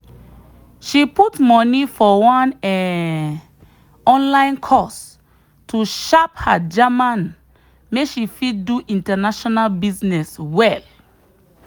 she put money for one um online course to sharp her german make she fit do international business well.